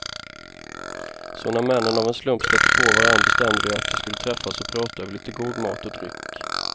Så när männen av en slump stötte på varandra bestämde de att de skulle träffas och prata över lite god mat och dryck.